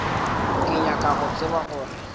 ke nyaka go tseba gore